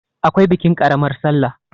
akwai bikin ƙaramar sallah